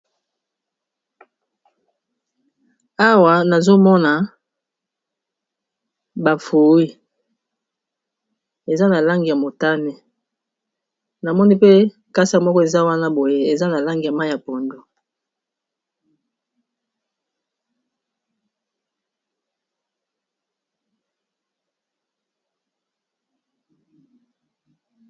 Awa nazomona bafui eza na lange ya motane, namoni pe kasa moko eza wana boye eza na lange ya ma ya pondo.